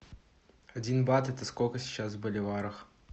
один бат это сколько сейчас в боливарах